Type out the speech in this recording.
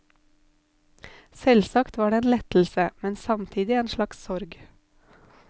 Selvsagt var det en lettelse, men samtidig en slags sorg.